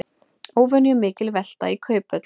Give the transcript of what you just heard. Óvenjumikil velta í Kauphöll